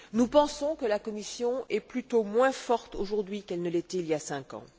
Nous pensons que la Commission est plutôt moins forte aujourd'hui qu'elle ne l'était il y a cinq ans.